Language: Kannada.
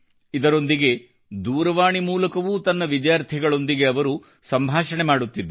ಇದರೊಂದಿಗೆ ದೂರವಾಣಿ ಮೂಲಕವೂ ತನ್ನ ವಿದ್ಯಾರ್ಥಿಗಳೊಂದಿಗ ಅವರು ಸಂಭಾಷಣೆ ಮಾಡುತ್ತಿದ್ದರು